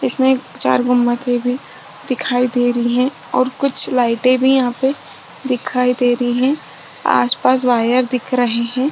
इसमें चार गुम्मत भी दिखाई दे रही है और कुछ लाइटे भी यहाँ पे दिखाई दे रही है आस पास वायर दिख रहे है।